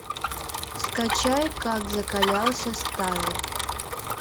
скачай как закалялся стайл